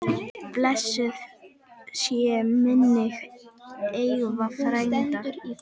Blessuð sé minning Eyva frænda.